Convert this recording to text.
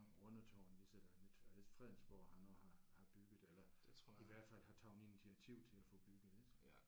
Rundetårn ligesådan ik er det ikke Fredensborg han også har har bygget eller i hvert fald har taget initiativ til at få bygget ik